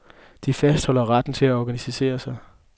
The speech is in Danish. De fastholder retten til at organisere sig.